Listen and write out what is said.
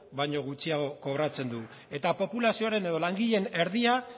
baino gutxiago kobratzen du eta populazioaren edo langileen erdia